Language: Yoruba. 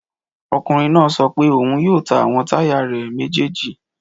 Ọkùnrin náà sọ pé òun yóò ta àwọn táyà ọ̀kadà rẹ̀ méjèjì